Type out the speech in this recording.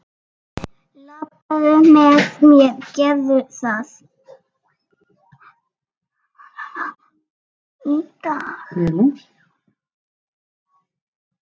Labbaðu með mér, gerðu það!